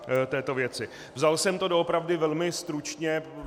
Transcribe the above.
Vzal jsem to doopravdy velmi stručně.